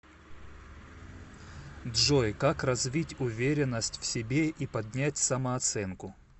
джой как развить уверенность в себе и поднять самооценку